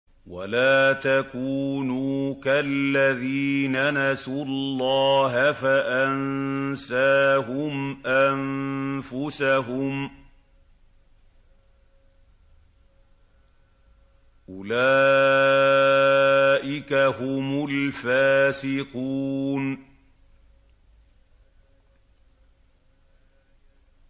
وَلَا تَكُونُوا كَالَّذِينَ نَسُوا اللَّهَ فَأَنسَاهُمْ أَنفُسَهُمْ ۚ أُولَٰئِكَ هُمُ الْفَاسِقُونَ